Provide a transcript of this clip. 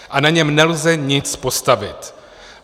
A na něm nelze nic postavit.